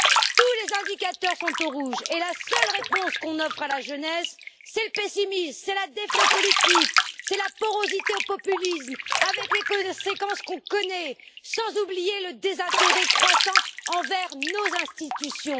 Tous les indicateurs sont au rouge et la seule réponse qu'on offre à la jeunesse, c'est le pessimisme, c'est la défiance aux politiques, c'est la porosité au populisme avec les conséquences qu'on connaît, sans oublier le désintérêt croissant envers nos institutions.